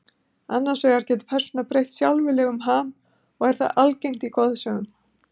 Annars vegar getur persóna breytt sjálfviljug um ham og er það algengt í goðsögum.